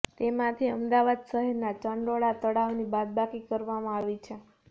તેમાંથી અમદાવાદ શહેરના ચંડોળા તળાવની બાદબાકી કરવામાં આવી છે